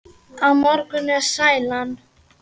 Á morgun er sælan.